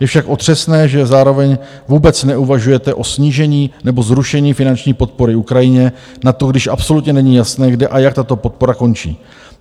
Je však otřesné, že zároveň vůbec neuvažujete o snížení nebo zrušení finanční podpory Ukrajině na to, když absolutně není jasné, kde a jak tato podpora končí.